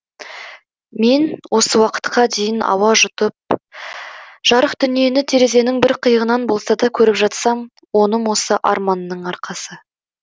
мен осы уақытқа дейін ауа жұтып жарық дүниені терезенің бір қиығынан болса да көріп жатсам оным осы арманның арқасы